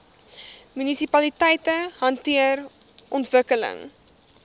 munisipaliteite hanteer ontwikkeling